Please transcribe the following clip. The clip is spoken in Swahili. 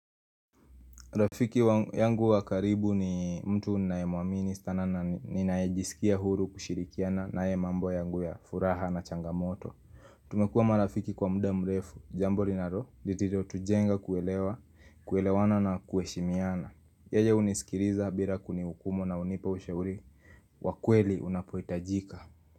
Rafiki yangu wakaribu ni mtu nae muamini sana na ninaejisikia huru kushirikiana nae mambo yangu ya furaha na changamoto Tumekuwa marafiki kwa muda mrefu, jambo lilotujenga kuelewana na kuheshimiana Yeye hunisikiliza bila kunihukumu na hunipa ushauri, wa kweli unapuhitajika.